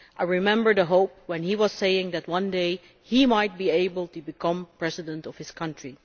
I remember the hope when he was saying that one day he might be able to become President of his country.